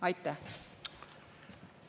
Aitäh!